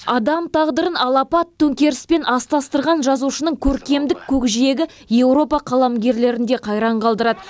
адам тағдырын алапат төңкеріспен астастырған жазушының көркемдік көкжиегі еуропа қаламгерлерін де қайран қалдырады